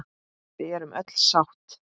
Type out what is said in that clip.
Við erum öll sátt.